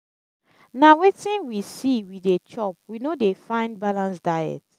na wetin we see we dey chop we no dey find balanced diet.